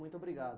Muito obrigado.